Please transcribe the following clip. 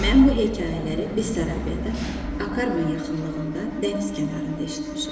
Mən bu hekayələri Bessarabiyada, Akkarman yaxınlığında dəniz kənarında eşitmişəm.